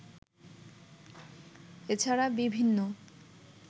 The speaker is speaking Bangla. এ ছাড়া বিভিন্ন